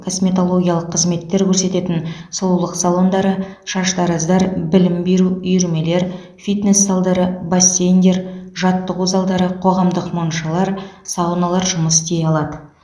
косметологиялық қызметтер көрсететін сұлулық салондары шаштараздар білім беру үйірмелер фитнес залдары бассейндер жаттығу залдары қоғамдық моншалар сауналар жұмыс істей алады